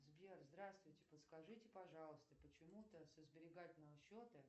сбер здравствуйте подскажите пожалуйста почему то со сберегательного счета